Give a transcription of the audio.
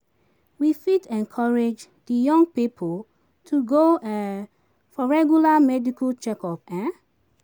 We fit encourage di young pipo to go um for regular medical checkup um